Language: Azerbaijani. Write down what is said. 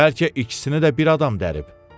Bəlkə ikisini də bir adam dərib.